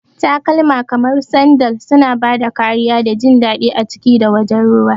Takalma kamar sandal suna ba da kariya da jin daɗi a ciki da wajen ruwa.